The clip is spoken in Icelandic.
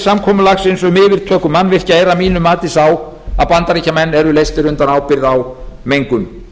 samkomulagsins um yfirtöku mannvirkja er að mínu mati sá að bandaríkjamenn eru leystir undan ábyrgð á mengun